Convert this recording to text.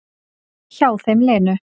Hjá þeim Lenu.